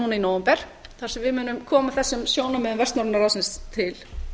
núna í nóvember þar sem við munum koma þessum sjónarmiðum vestnorræna ráðsins til